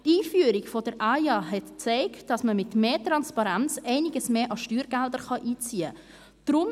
Die Einführung der AIA hat gezeigt, dass man mit mehr Transparenz einiges mehr an Steuergeldern einziehen kann.